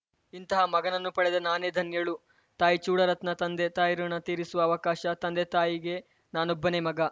ಇಂತಹ ಮಗನನ್ನು ಪಡೆದ ನಾನೇ ಧನ್ಯಳು ತಾಯಿ ಚೂಡಾರತ್ನ ತಂದೆ ತಾಯಿ ಋುಣ ತೀರಿಸುವ ಅವಕಾಶ ತಂದೆ ತಾಯಿಗೆ ನಾನೊಬ್ಬನೆ ಮಗ